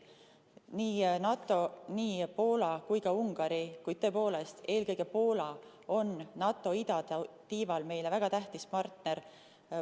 Nii NATO, Poola kui ka Ungari, kuid tõepoolest, eelkõige Poola on NATO idatiival meile väga tähtis partner.